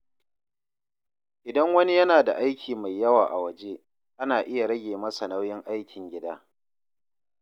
Idan wani yana da aiki mai yawa a waje, ana iya rage masa nauyin aikin gida.